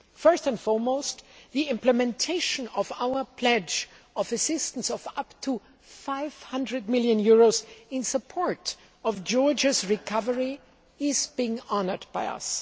First and foremost, the implementation of our pledge of assistance of up to EUR 500 million in support of Georgia's recovery is being honoured by us.